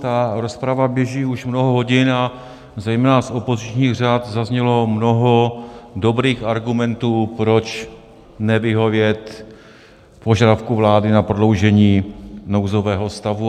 Ta rozprava běží už mnoho hodin a zejména z opozičních řad zaznělo mnoho dobrých argumentů, proč nevyhovět požadavku vlády na prodloužení nouzového stavu.